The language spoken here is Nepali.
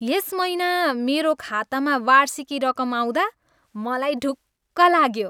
यस महिना मेरो खातामा वार्षिकी रकम आउँदा मलाई ढुक्क लाग्यो।